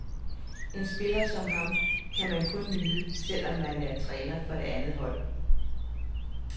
En spiller som ham kan man kun nyde, selv om man er træner for det andet hold.